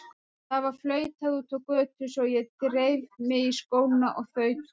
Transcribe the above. Það var flautað úti á götu svo ég dreif mig í skóna og þaut út.